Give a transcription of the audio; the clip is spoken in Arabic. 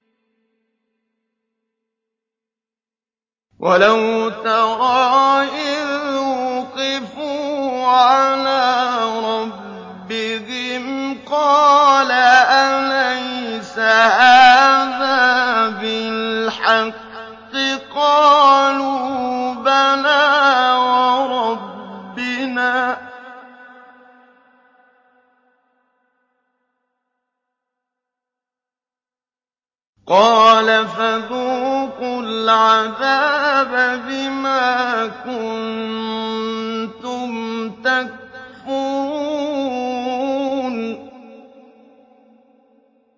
وَلَوْ تَرَىٰ إِذْ وُقِفُوا عَلَىٰ رَبِّهِمْ ۚ قَالَ أَلَيْسَ هَٰذَا بِالْحَقِّ ۚ قَالُوا بَلَىٰ وَرَبِّنَا ۚ قَالَ فَذُوقُوا الْعَذَابَ بِمَا كُنتُمْ تَكْفُرُونَ